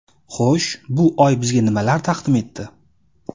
Xo‘sh, bu oy bizga nimalar taqdim etdi?